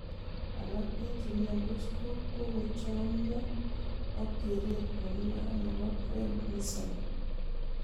Alak en chemiondos ko kochomyo ok keret nemi barak nebo prednisone.